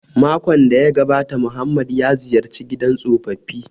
Makon da ya gabata Muhammad ya ziyarci gidan tsofaffi